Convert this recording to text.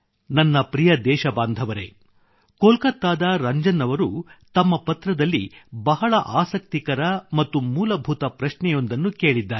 ನನ್ನ ಪ್ರಿಯ ದೇಶಬಾಂಧವರೆ ಕೋಲ್ಕತ್ತಾದ ರಂಜನ್ ಅವರು ತಮ್ಮ ಪತ್ರದಲ್ಲಿ ಬಹಳ ಆಸಕ್ತಿಕರ ಮತ್ತು ಮೂಲಭೂತ ಪ್ರಶ್ನೆಯೊಂದನ್ನು ಕೇಳಿದ್ದಾರೆ